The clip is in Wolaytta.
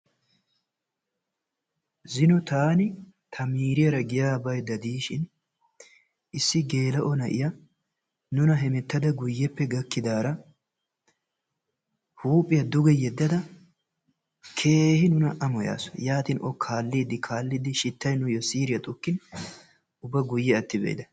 Zino taan ta miriyaara giya bayda diishin issi gela"o na'iyaa nuna hemettada guuyeppe gakkidaara huuphiyaa duge yedadda keehi nuna amoyaasu. Yaatin O kaalidi kaalidi shitay nuuyo siriyaa xukkin ubba guye atti bayda.